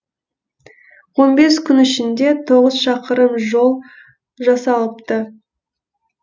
он бес күн ішінде тоғыз шақырым жол жасалыпты